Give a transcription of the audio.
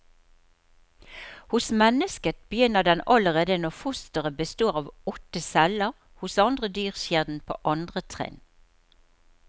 Hos mennesket begynner den allerede når fosteret består av åtte celler, hos andre dyr skjer den på andre trinn.